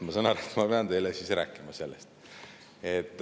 Ma saan aru, et ma pean teile siis rääkima sellest.